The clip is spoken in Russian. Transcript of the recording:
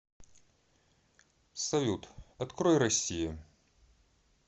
салют открой россия